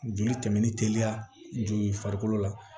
Joli tɛmɛ ni teliya joli ye farikolo la